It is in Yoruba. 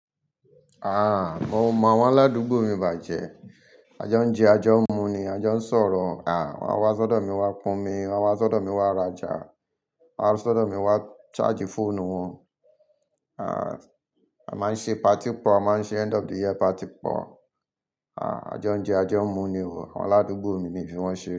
Ah! Mo mọ àwọn aládùúgbò mi bàjẹ́. A jọ ń jẹ, a jọ ń mu ni, a jọ ń sọ̀rọ̀. Àn, wọ́n á wá sọ́dọ̀ mi wá kún mi, wọ́n á wá sọ́dọ̀ mi wá raja, wọ́n á wá sọ́dọ̀ mi wá charge fóònù wọn. Ah! A máa ń ṣe party pọ̀, a máa ń ṣe end of the year party pọ̀. Ah! A jẹun jẹ, a jẹun mu ni wò. Àwọn aládùúgbò mi mi fi wọ́n ṣe.